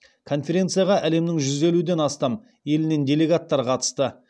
конференцияға әлемнің жүз елуден астам елінен делегаттар қатысты